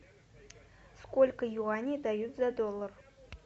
сколько юаней дают за доллар